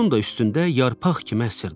Onun da üstündə yarpaq kimi əsirdi.